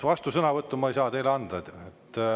Vastusõnavõttu ma ei saa teile anda.